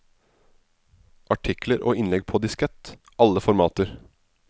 Artikler og innlegg på diskett, alle formater.